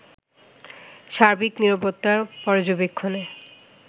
সার্বিক নিরাপত্তা পর্যবেক্ষণে